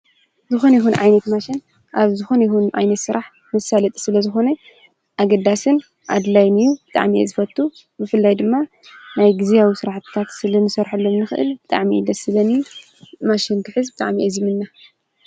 ዝኾነ ይኹን ዓይነት ማሽን ኣብ ዝኾነ ይኹን ዓይነት ስራሕ ዘሳልጥ ስለዝኾ ኣገዳስን ኣድላይን እዩ፣ ብጣዕሚ እየ ዝፈቱ ብፍላይ ድማ ናይ ግዝያዊ ስራሕትታት ክንሰርሐሎም ስለንክእል ብጣዕሚ እዩ ደስ ዝብለኒ። ማሽን ክሕዝ ብጣዕሚ እየ ዝምነ።